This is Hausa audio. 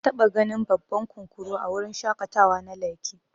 Nataba ganin babban kunkuru a wurin shaƙatawa na lekki.